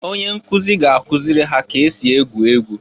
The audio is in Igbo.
Onye nkụzị ga-akụzị ha ka esi egwu egwu.